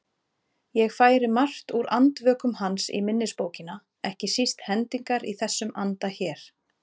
Ég færi margt úr Andvökum hans í minnisbókina, ekki síst hendingar í þessum anda hér